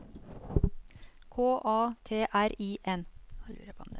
K A T R I N